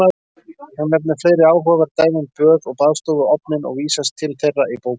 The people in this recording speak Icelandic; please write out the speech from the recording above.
Hún nefnir fleiri áhugaverð dæmi um böð og baðstofuofninn og vísast til þeirra í bókinni.